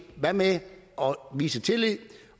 hvad med at vise tillid